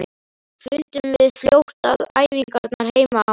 Fundum við fljótt að æfingarnar heima á